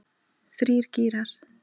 Þrír gírar.